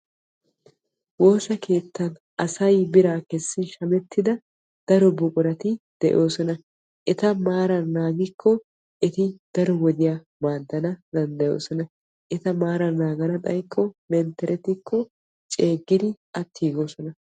Woosa keettan asay bira kessin shamettidda daro buquratti de'osonna etta maaran naagikko eti daro wodiyaa go'ana danddayoosona.. Etta maaran xaykko mentterettikko ceegidi attigoosona.